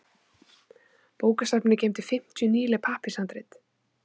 Bókasafnið geymdi fimmtíu nýleg pappírshandrit.